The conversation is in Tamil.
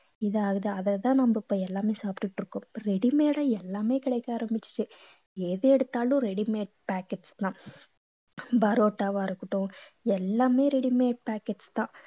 இது ஆகுது அதைத்தான் நம்ம இப்ப எல்லாமே சாப்பிட்டுட்டு இருக்கோம் ready made ஆ எல்லாமே கிடைக்க ஆரம்பிச்சுடுச்சு எது எடுத்தாலும் ready made packets தான் parotta வா இருக்கட்டும் எல்லாமே ready made packets தான்